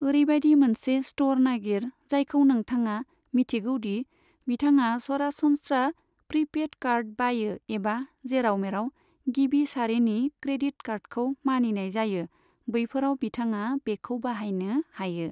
ओरैबायदि मोनसे स्टर नागिर जायखौ नोंथाङा मिथिगौ दि बिथाङा सरासनस्रा प्रि्पेड कार्ड बायो एबा जेराव मेराव गिबि सारिनि क्रेडिट कार्डखौ मानिनाय जायो बैफोराव बिथाङा बेखौ बाहायनो हायो।